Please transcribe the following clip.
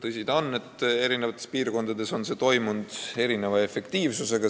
Tõsi ta on, et eri piirkondades on see töö käinud erineva efektiivsusega.